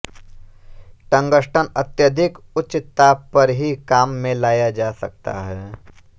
tungsten अत्यधिक उच्च ताप पर ही काम में लाया जा सकता है